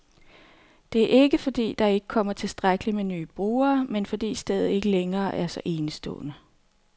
Det er ikke, fordi der ikke kommer tilstrækkeligt med nye brugere, men fordi stedet ikke længere er så enestående.